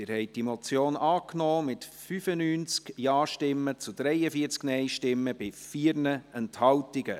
Sie haben die Motion angenommen, mit 95 Ja- zu 43 Nein-Stimmen bei 4 Enthaltungen.